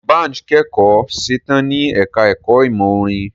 Dbanj kẹ́kọ̀ọ́ setán ní ẹka ẹ̀kọ́ ìmọ̀ orin.